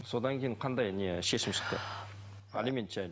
содан кейін қандай не шешім шықты алимент жайлы